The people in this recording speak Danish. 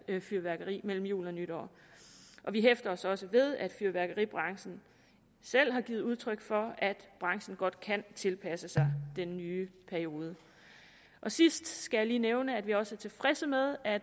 fyrværkeri mellem jul og nytår vi hæfter os også ved at fyrværkeribranchen selv har givet udtryk for at branchen godt kan tilpasse sig den nye periode sidst skal jeg lige nævne at vi også er tilfredse med at